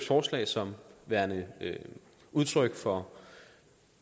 forslag som værende udtryk for